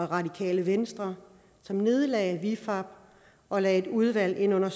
radikale venstre som nedlagde vifab og lagde et udvalg ind under